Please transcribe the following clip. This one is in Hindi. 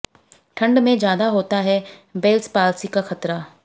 ठंड में ज्यादा होता है बेल्स पाल्सी का खतरा